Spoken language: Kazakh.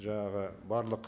жаңағы барлық